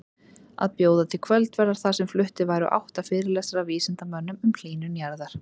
Að bjóða til kvöldverðar þar sem fluttir væru átta fyrirlestrar af vísindamönnum um hlýnun jarðar.